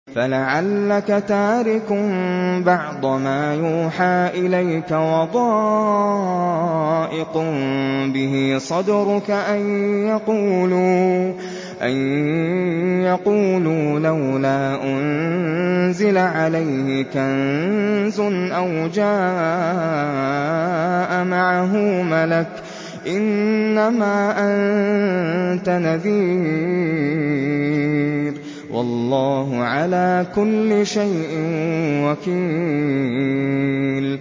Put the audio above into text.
فَلَعَلَّكَ تَارِكٌ بَعْضَ مَا يُوحَىٰ إِلَيْكَ وَضَائِقٌ بِهِ صَدْرُكَ أَن يَقُولُوا لَوْلَا أُنزِلَ عَلَيْهِ كَنزٌ أَوْ جَاءَ مَعَهُ مَلَكٌ ۚ إِنَّمَا أَنتَ نَذِيرٌ ۚ وَاللَّهُ عَلَىٰ كُلِّ شَيْءٍ وَكِيلٌ